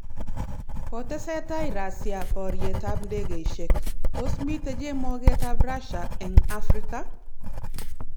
Kotesetai Russia borietab ndekeisiek .Tos mitei chemogetab Russia eng Afrika